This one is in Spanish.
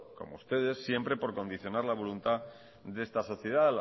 como ustedes siempre por condicionar la voluntad de esta sociedad